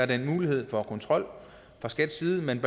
den her mulighed for kontrol fra skats side men